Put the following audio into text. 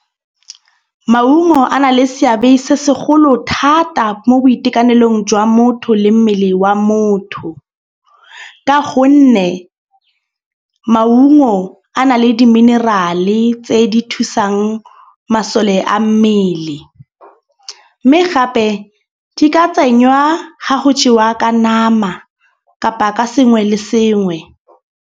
Maungo a na le seabe se segolo thata mo boitekanelong jwa motho le mmele wa motho. Ka gonne maungo a na le di-mineral-e tse di thusang masole a mmele. Mme gape di ka tsenywa ga go jewa ka nama kapa ka sengwe le sengwe.